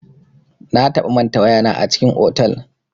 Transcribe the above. Na taɓa manta waya na a cikin otal.